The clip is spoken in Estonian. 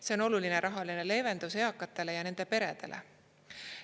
See on oluline rahaline leevendus eakatele ja nende peredele.